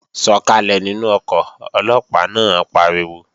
Sọ̀kàlẹ̀ nínú ọkọ̀, Ọlọ́pàá náà pariwo!